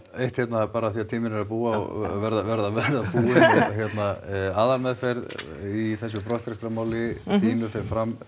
eitt hérna af því tíminn er að verða að verða búinn aðalmeðferði í þessu brottrekstrarmáli þínu fer fram